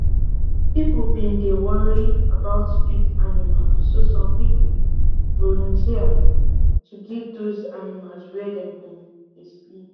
people been dey worry about street animals so some people volunteers to give those animals where dem go dey sleep